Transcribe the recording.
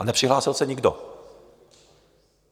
A nepřihlásil se nikdo.